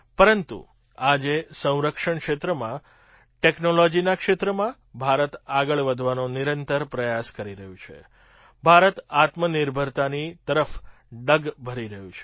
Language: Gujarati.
પરંતુ આજે સંરક્ષણ ક્ષેત્રમાં ટૅક્નૉલૉજીના ક્ષેત્રમાં ભારત આગળ વધવાનો નિરંતર પ્રયાસ કરી રહ્યું છે ભારત આત્મનિર્ભરતાની તરફ ડગ ભરી રહ્યું છે